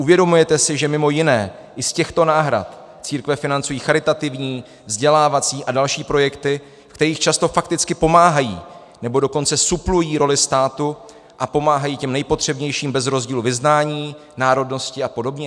Uvědomujete si, že mimo jiné i z těchto náhrad církve financují charitativní, vzdělávací a další projekty, v kterých často fakticky pomáhají, nebo dokonce suplují roli státu a pomáhají těm nejpotřebnějším bez rozdílu vyznání, národnosti a podobně?